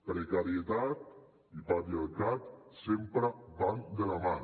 precarietat i patriarcat sempre van de la mà